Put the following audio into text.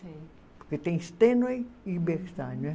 Porque tem Stenway e Bechstein.